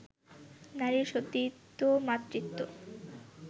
নারীর সতীত্ব, মাতৃত্ব